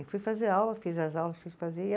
Aí fui fazer aula, fiz as aulas que